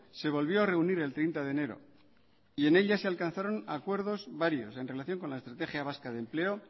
se volvió a reunir el treinta de enero y en ella se alcanzaron acuerdos varios en relación con la estrategia vasca de empleo